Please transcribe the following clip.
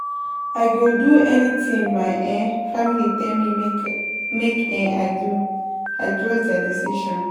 I go do anything my um family tell me make um I do, I trust their decision.